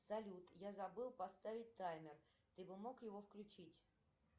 салют я забыл поставить таймер ты бы мог его включить